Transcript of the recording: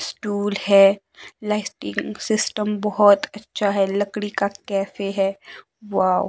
Stool है plastic system बहोत अच्छा है लकड़ी का कैफे हैं वाव ।